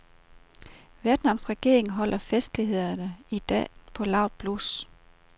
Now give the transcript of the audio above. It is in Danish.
Vietnams regering holder festlighederne i dag på lavt blus.